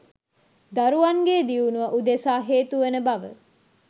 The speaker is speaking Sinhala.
දරුවන්ගේ දියුණුව උදෙසා හේතුවන බව